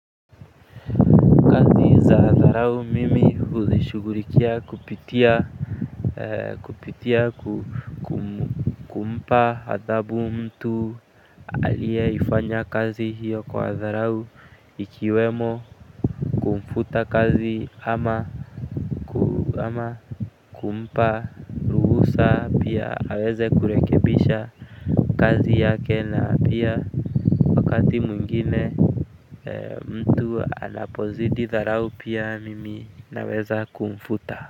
Kazi za dharau mimi hushughulikia kupitia, kupitia kumpa adhabu mtu aliyefanya kazi hiyo kwa dharau ikiwemo mfuta kazi ama kumpa ruhusa pia aweze kurekebisha kazi yake, na pia wakati mwingine. Mtu anapozidi dharau, pia mimi naweza kumfuta.